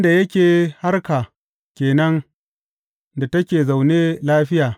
Birnin da yake harka ke nan da take zaune lafiya.